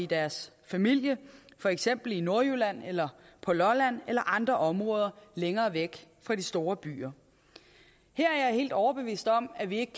deres familie for eksempel i nordjylland eller på lolland eller i andre områder længere væk fra de store byer her er jeg helt overbevist om at vi ikke